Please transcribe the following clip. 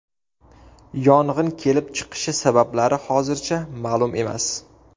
Yong‘in kelib chiqishi sabablari hozircha ma’lum emas.